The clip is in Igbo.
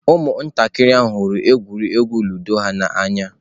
Ụmụntakịrị ahụ hụrụ egwuregwu Ludo ha n'anya.